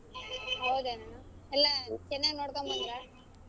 ಹೌದೇನಣ್ಣಾ ಎಲ್ಲಾ ಚೆನ್ನಾಗ್ ನೋಡ್ಕೊಂಡ್ ಬಂದ್ರಾ.